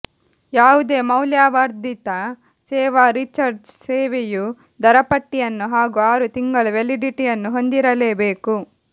ಯಾವುದೇ ಮೌಲ್ಯವರ್ಧಿತ ಸೇವಾ ರೀಚಾರ್ಜ್ ಸೇವೆಯು ದರಪಟ್ಟಿಯನ್ನು ಹಾಗೂ ಆರು ತಿಂಗಳ ವ್ಯಾಲಿಡಿಟಿಯನ್ನು ಹೊಂದಿರಲೇಬೇಕು